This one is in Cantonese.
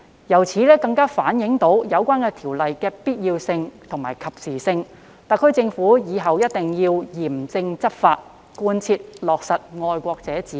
由此可見，《條例草案》確實有其必要性和及時性，特區政府以後必須嚴正執法，貫徹落實"愛國者治港"。